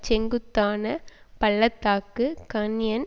செங்குத்தான பள்ள தாக்கு கான்யன்